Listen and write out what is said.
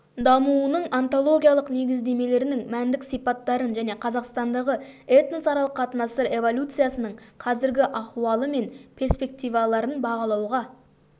дамуының онтологиялық негіздемелерін мәндік сипаттарын және қазақстандағы этносаралық қатынастар эволюциясының қазіргі ахуалы мен перспективаларын бағалауға